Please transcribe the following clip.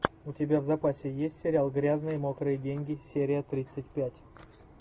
у тебя в запасе есть сериал грязные мокрые деньги серия тридцать пять